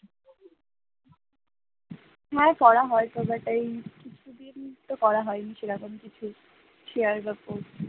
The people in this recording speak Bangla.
না রে করা হয়নি but এই ছবি এই মুহূর্তে করা হয়নি সেরকম কিছু share বা post